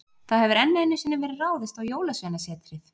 Það hefur enn einu sinni verið ráðist á Jólasveinasetrið.